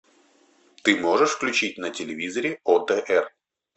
ты можешь включить на телевизоре отр